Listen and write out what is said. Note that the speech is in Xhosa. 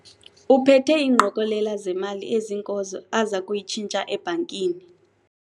Uphethe ingqokelela zemali eziinkozo aza kuyitshintsha ebhankini.